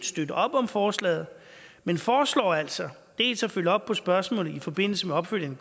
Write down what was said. støtte op om forslaget men foreslår altså dels at følge op på spørgsmålet i forbindelse med opfølgningen